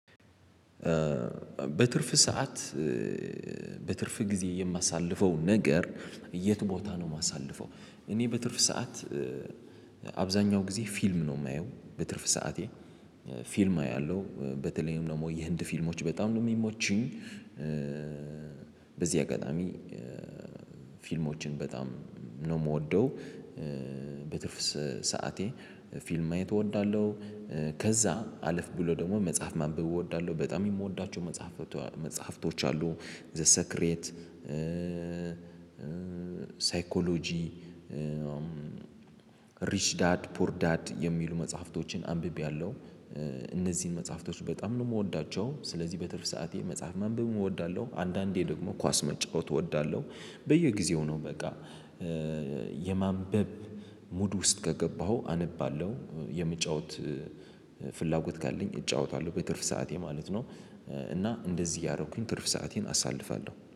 በትርፍ ሰዓት በትርፍ ጊዜ የማሳልፈው ነገር የት ቦታ ነው? እማሳልፈው እኔ በትርፍ ሰዓት አብዛኛው ጊዜ ፊልም ነው እማየው በትርፍ ሰዓቴ ፊልም አያለሁ በተለይም ደግሞ የህንድ ፊልሞች በጣም ነው የሚመቹኝ። በዚህ አጋጣሚ ፊልሞችን በጣም ነው እምወደው። በትርፍ ሰዓቴ ፊልም ማየት እወዳለሁ። ከዛ አለፍ ብሎ ደግሞ መጽሐፍ ማንበብ እወዳለሁ በጣም የምወዳቸው መጽሀፍቶ መጽሐፍቶች አሉ ዘ ሰክሬት ሳይኮሎጂ ሪች ዳድ ፑር ዳድ የሚሉ መጽሐፍቶችን አንብቤያለሁ። እነዚህን መጽሐፍቶች በጣም ነው እምወዳቸው። ስለዚህ በትርፍ ሰዓቴ መጽሐፍ ማንበብም እወዳለሁ። አንዳንዴም ደግሞ ኳስም መጫወት እወዳለሁ። በየጊዜው ነው በቃ የማንበብ ሙድ ውስጥ ከገባሁ አነባለሁ የምጫወት ፍላጎት ካለኝ እጫወታለሁ በትርፍ ሰዓቴ ማለት ነው። እና እንደዚህ እያረኩኝ ትርፍ ሰአቴን አሳልፋለሁ